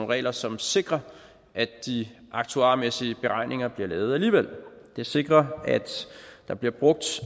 regler som sikrer at de aktuarmæssige beregninger bliver lavet alligevel det sikrer at der bliver brugt